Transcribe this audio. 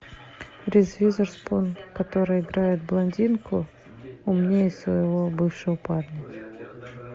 риз уизерспун которая играет блондинку умнее своего бывшего парня